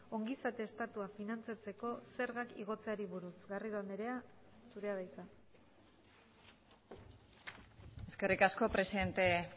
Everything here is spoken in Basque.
ongizate estatua finantzatzeko zergak igotzeari buruz garrido andrea zurea da hitza eskerrik asko presidente